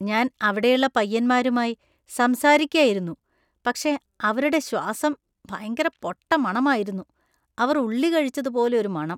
ഞാൻ അവിടെയുള്ള പയ്യന്മാരുമായി സംസാരിയ്ക്കായിരുന്നു. പക്ഷേ അവരുടെ ശ്വാസം ഭയങ്കര പൊട്ടമണം ആയിരുന്നു. അവർ ഉള്ളി കഴിച്ചതുപോലെ ഒരു മണം.